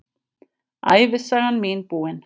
Ævisagan mín búin.